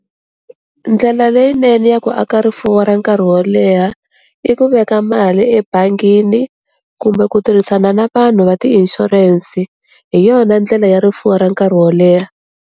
Ndlela leyinene ya ku aka rifuwo ra nkarhi wo leha i ku veka mali ebangini kumbe ku tirhisana na vanhu va ti ishurense, hi yona ndlela ya rifuwo ra nkarhi wo leha.